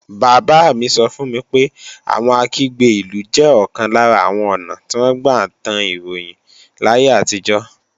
Bàbá mi sọ fún mi pé àwọn Akígbe-ìlú jẹ́ ọ̀kan lára àwọn ​​ọ̀nà tí wọ́n gbà tan ròyìn láyé àtijọ́